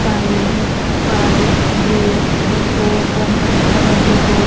five eight five zero four one ಅಂತ ಒಂದು ಕೋಡಿ--